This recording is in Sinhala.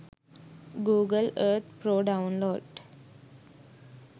google earth pro download